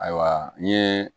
Ayiwa n ye